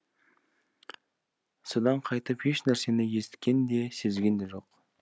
содан қайтып еш нәрсені есіткен де сезген де жоқ